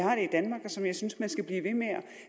som jeg synes man skal blive ved med at